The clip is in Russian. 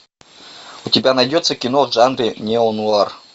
у тебя найдется кино в жанре неонуар